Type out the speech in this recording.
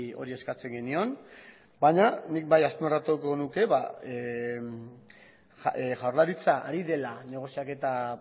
hori eskatzen genion baina nik bai azpimarratuko nuke jaurlaritza ari dela negoziaketa